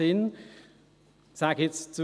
Ich sage nun: